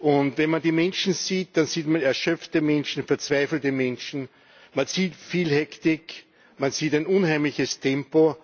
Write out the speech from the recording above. Wenn man die Menschen sieht, dann sieht man erschöpfte Menschen, verzweifelte Menschen, man sieht viel Hektik, man sieht ein unheimliches Tempo.